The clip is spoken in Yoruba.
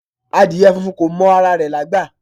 Adìẹ funfun ko mọ ara rẹ̀ lágbà